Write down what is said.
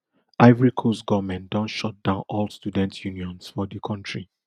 ivory coast goment don shut down all student unions for di kontri